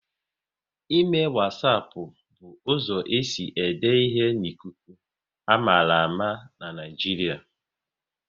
Ịme wasapu bụ uzo esi ede ihe n'ikuku, a mara ama n'Naijiria